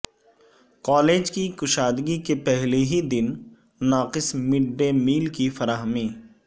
college کی کشادگی کے پہلے ہی دن ناقص مڈڈے میل کی فراہمی